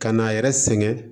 Ka n'a yɛrɛ sɛgɛn